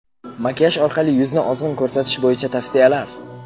Makiyaj orqali yuzni ozg‘in ko‘rsatish bo‘yicha tavsiyalar.